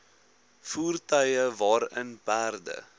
voertuie waarin perde